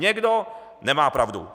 Někdo nemá pravdu.